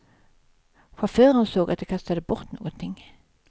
Chauffören såg att de kastade bort någonting.